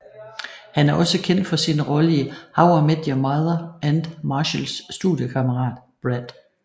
Han er også kendt for sin rolle i How I Met Your Mother som Marshalls studiekammerat Brad